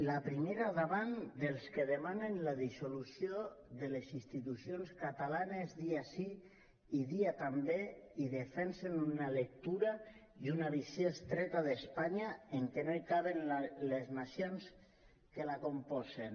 la primera davant dels que demanen la dissolució de les institucions catalanes dia sí i dia també i defensen una lectura i una visió estreta d’espanya en què no hi caben les nacions que la componen